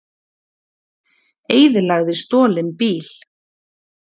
Eyðilagði stolinn bíl